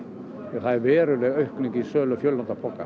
það er veruleg aukning í sölu